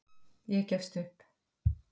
Ég gefst upp